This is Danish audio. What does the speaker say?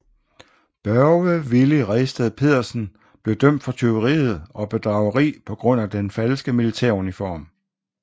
Børge Villy Redsted Pedersen blev dømt for tyveriet og bedrageri på grund af den falske militæruniform